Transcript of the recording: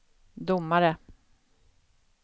domare